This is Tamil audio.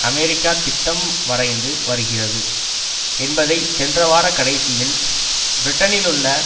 அமெரிக்கா திட்டம் வரைந்து வருகிறது என்பதை சென்ற வார கடைசியில் பிரிட்டனிலுள்ள